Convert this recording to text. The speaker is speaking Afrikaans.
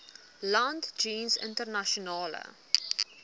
land jeens internasionale